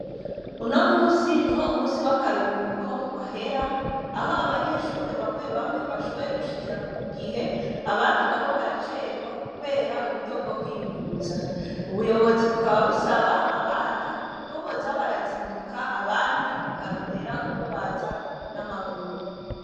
Uno munsi niho umunsi w' akarihuko wahera, aho abanyeshure bamwe bamwe bashoboye gushikira ku gihe , abandi nabo baracerwa, kubwira buryo bwo kwiyunguruza. Ubuyobozi bukaba busaba abana ko boza barazinduka ,abandi bakarondera ukwo baza n' amaguru.